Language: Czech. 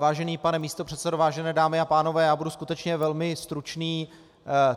Vážený pane místopředsedo, vážené dámy a pánové, já budu skutečně velmi stručný.